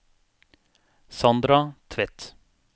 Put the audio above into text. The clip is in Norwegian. Sandra Tvedt